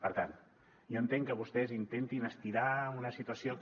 per tant jo entenc que vostès intentin estirar una situació que